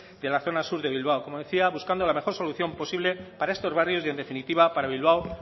de la zona sur de bilbao como decía buscando la mejor solución posible para estos barrios y en definitiva para bilbao